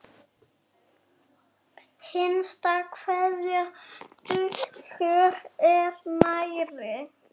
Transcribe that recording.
Hinsta kveðja Dagur er nærri.